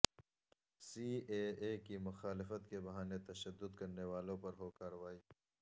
C A A کی مخالفت کے بہانے تشدد کرنے والوں پر ہو کارروائی